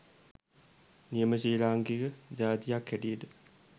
නියම ශ්‍රී ලාංකික ජාතියක් හැටියට